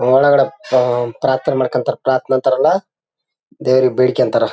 ಒಳಗಡೆ ಹ್ಮ್ ಪ್ರಾರ್ಥನೇ ಮಾಡ್ಕೋತಾರೆ ಪ್ರಾರ್ಥನೆ ಅಂತಾರಲ್ಲ ದೇವರಿಗೆ ಬೇಡಿ ಕೊಂಡ್ತಾರೆ